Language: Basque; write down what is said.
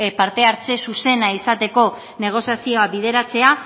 parte hartze zuzena izateko negoziazioa bideratzea